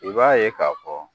I b'a ye k'a fɔ